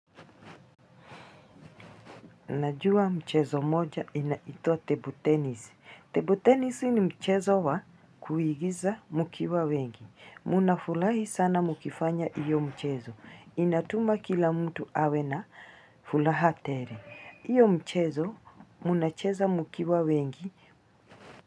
Najua mchezo moja inaitwa table tennis. Table tenisi ni mchezo wa kuigiza mukiwa wengi. Munafulahi sana mukifanya iyo mchezo. Inatuma kila mtu awe na fulaha tere. Iyo mchezo munacheza mukiwa wengi.